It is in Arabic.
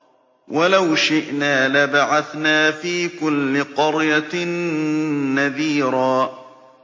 وَلَوْ شِئْنَا لَبَعَثْنَا فِي كُلِّ قَرْيَةٍ نَّذِيرًا